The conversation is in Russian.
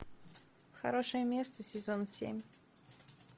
хорошее место сезон семь